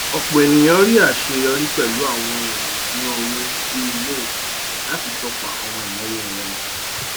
ọpọ ènìyàn rí aṣeyọrí pẹlú àwọn ohun èlò iṣuna owó bíi mint láti tọpa àwọn ináwó wọn